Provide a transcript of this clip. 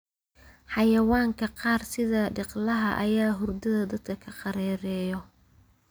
Xayawaanka qaar sida dhiqlaha ayaa hurdada dadka ka qerereyo.